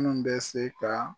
Minnu bɛ se ka